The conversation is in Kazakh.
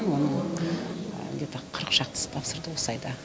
оның где то қырық шақтысы тапсырды осы айда